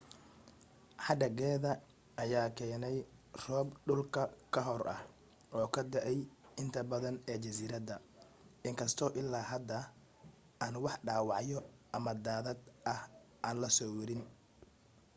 hadhaageeda ayaa keenay roob dul ka hoor ah oo ka da'ay inta badan ee jasiiradda in kastoo ilaa hadda aan wax dhaawacyo ama daadad ah aan la soo werin